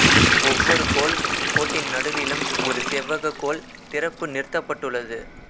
ஒவ்வொரு கோல் கோட்டின் நடுவிலும் ஒரு செவ்வகக் கோல் திறப்பு நிறுத்தப்பட்டுள்ளது